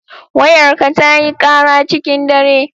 Wayarka tayi kara cikin dare.